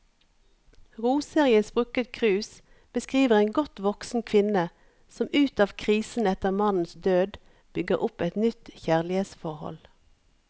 Roser i et sprukket krus beskriver en godt voksen kvinne som ut av krisen etter mannens død, bygger opp et nytt kjærlighetsforhold.